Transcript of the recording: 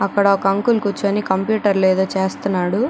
అక్కడ ఒక అంకుల్ కూర్చొని కంప్యూటర్ లో ఎదో చేస్తన్నాడు.